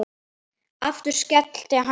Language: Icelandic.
Aftur skellir hann upp úr.